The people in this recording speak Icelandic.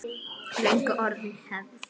Löngu orðin hefð.